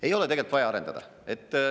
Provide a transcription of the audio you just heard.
Ei ole tegelikult vaja arendada.